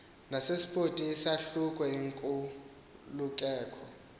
nepaspoti isahluko inkululeko